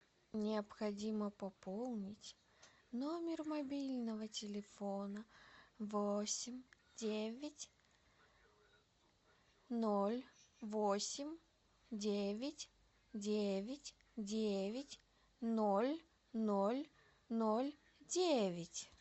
необходимо пополнить номер мобильного телефона восемь девять ноль восемь девять девять девять ноль ноль ноль девять